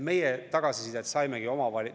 Me tagasisidet saimegi.